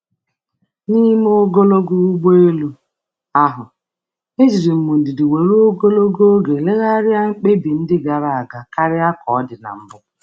N’oge ogologo ụgbọ elu, m tụlere mkpebi gara aga n’ụzọ nwere ndidi karịa mbụ.